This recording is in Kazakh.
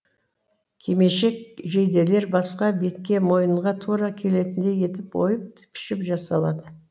кимешек жейделер басқа бетке мойынға тура келетіндей етіп ойып пішіп жасалады